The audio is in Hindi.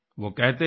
वो कहते थे